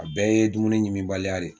A bɛɛ ye dumuni ɲiminbaliya de ye